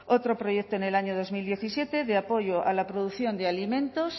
otro proyecto en el año dos mil diecisiete apoyo a la producción de alimentos